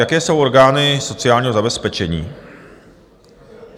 Jaké jsou orgány sociálního zabezpečení.